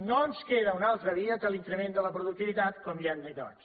no ens queda una altra via que l’increment de la productivitat com ja hem dit abans